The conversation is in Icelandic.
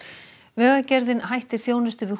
vegagerðin hættir þjónustu við